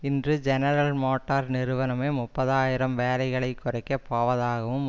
இன்று General Motor நிறுவனமே முப்பது ஆயிரம் வேலைகளை குறைக்க போவதாகவும்